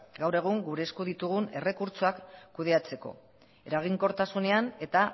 gaur egun gure esku ditugun errekurtsoak kudeatzeko eraginkortasunean eta